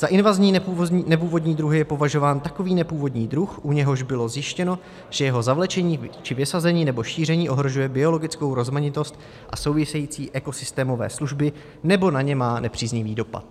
Za invazní nepůvodní druhy je považován takový nepůvodní druh, u něhož bylo zjištěno, že jeho zavlečení či vysazení nebo šíření ohrožuje biologickou rozmanitost a související ekosystémové služby nebo na ně má nepříznivý dopad.